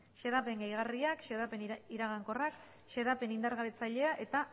xedapen gehigarriak xedapen iragankorrak xedapen indargabetzailea eta